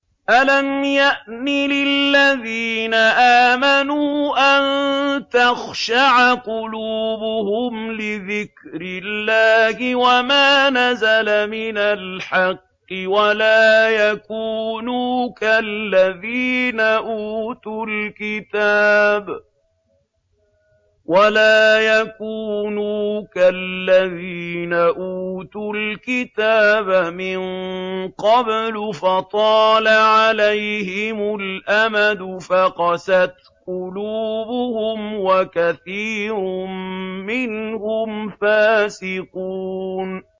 ۞ أَلَمْ يَأْنِ لِلَّذِينَ آمَنُوا أَن تَخْشَعَ قُلُوبُهُمْ لِذِكْرِ اللَّهِ وَمَا نَزَلَ مِنَ الْحَقِّ وَلَا يَكُونُوا كَالَّذِينَ أُوتُوا الْكِتَابَ مِن قَبْلُ فَطَالَ عَلَيْهِمُ الْأَمَدُ فَقَسَتْ قُلُوبُهُمْ ۖ وَكَثِيرٌ مِّنْهُمْ فَاسِقُونَ